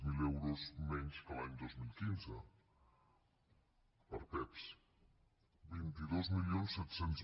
zero euros menys que l’any dos mil quinze per a pevs vint dos mil set cents